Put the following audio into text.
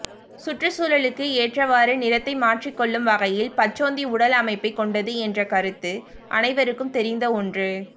சுற்றுச்சூழலுக்கு ஏற்றவாறு நிறத்தை மாற்றிக்கொள்ளும் வகையில் பச்சோந்தி உடல் அமைப்பைக் கொண்டது என்ற கருத்து அனைவருக்கும் தெரிந்த ஒன்று